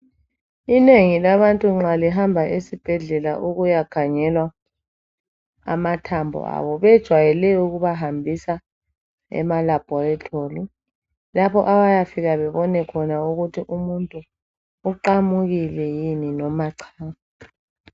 Inengi labantu nxa lihamba esibhedlela ukuya khangelwa amathambo abo bejwayele ukubahambisa ema labhorithori lapho abayafika bebona khona ukuthi umuntu uqamukile yini noma cha.